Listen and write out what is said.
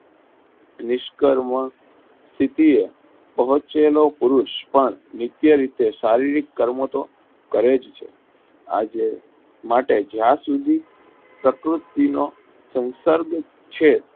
નિષ્કર્મ સીપીએ બહુચય નો પુરુષ પણ મુખ્ય રીતે શારીરિક કર્મ તો કરે જ છે આજે માટે જ્યાં સુધી પ્રકૃતિ નો સંકલ્પ છે.